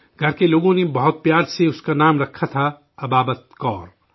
گھر کے لوگوں نے بہت پیار سے اس کا نام رکھا تھا ابابت کور